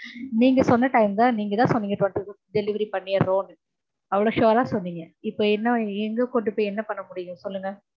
நீங்க சொன்ன time தா நீங்கதா சொன்னீங்க twenty fifth delievery பண்ணிறொம் நு, அவ்ளொ sure அ சொன்னீங்க இப்ப என்ன எங்க கொண்டு போய் என்ன பண்ண முடியும் சொல்லுங்க?